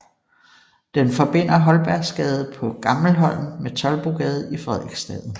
Den forbinder Holbergsgade på Gammelholm med Toldbodgade i Frederiksstaden